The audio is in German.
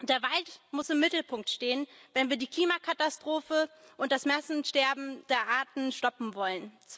Der Wald muss im Mittelpunkt stehen, wenn wir die Klimakatastrophe und das Massensterben der Arten stoppen wollen.